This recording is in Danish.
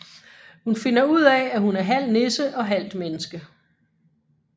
Hun finder ud af at hun er halv nisse og halvt menneske